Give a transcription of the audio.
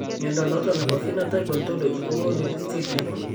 Mnyondo noton nebo Phenotype Ontology kogonu listiit nebo